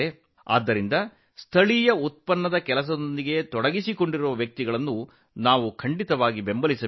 ಆದ್ದರಿಂದ ಸ್ಥಳೀಯ ಉತ್ಪನ್ನಗಳ ಕೆಲಸಕ್ಕೆ ಸಂಬಂಧಿಸಿದ ಜನರನ್ನು ನಾವು ಬೆಂಬಲಿಸಬೇಕು